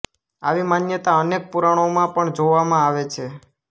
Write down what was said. આવી માન્યતા અનેક પુરાણોમાં પણ જૉવામાં આવે છે